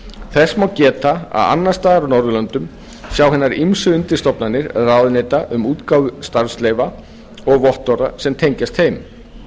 þess má geta að annars staðar á norðurlöndum sjá hinar ýmsu undirstofnanir ráðuneyta um útgáfu starfsleyfa og vottorða sem tengjast þeim